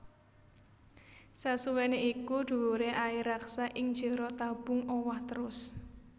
Sasuwèné iku dhuwuré air raksa ing jero tabung owah trus